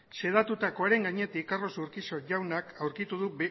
xedatutakoaren gainetik carlos urquijo jaunak aurkitu du